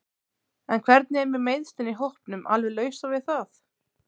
En hvernig er með meiðslin í hópnum alveg lausar við það?